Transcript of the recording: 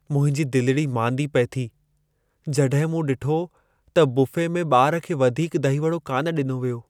मुंहिंजी दिलिड़ी मांदी पिए थी जड॒हिं मूं डि॒ठो त बुफ़े में ॿार खे वधीक दही वड़ो कान डि॒नो वियो ।